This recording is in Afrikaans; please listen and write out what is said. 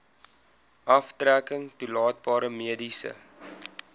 aftrekking toelaatbare mediese